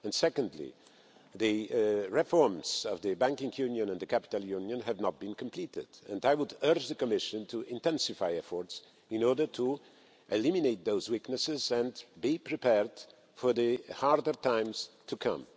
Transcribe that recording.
Secondly, the reforms of the banking union and the capital union have not been completed, and I would urge the Commission to intensify efforts in order to eliminate those weaknesses and be prepared for the harder times to come.